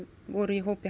voru í hópi